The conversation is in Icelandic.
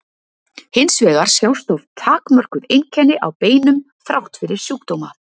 hins vegar sjást oft takmörkuð einkenni á beinum þrátt fyrir sjúkdóma